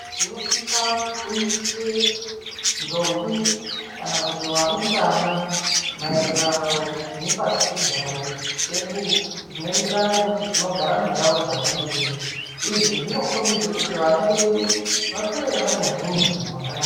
Tinofanire kufundise ndombi kana kuti varumbwana maererano nepasichigare chedu zvinoenderana nekuti tinogara mundau dzakadini. Izvi zvinokombidze kuti vana vedu vakure vane huntu hwakanaka.